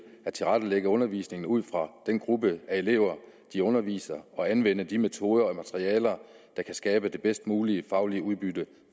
at tilrettelægge undervisningen ud fra den gruppe af elever de underviser og anvende de metoder og materialer der kan skabe det bedst mulige faglige udbytte